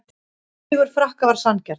Sigur Frakka var sanngjarn